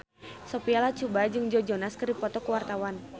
Sophia Latjuba jeung Joe Jonas keur dipoto ku wartawan